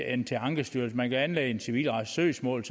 end til ankestyrelsen man kan selvfølgelig anlægge et civilretligt søgsmål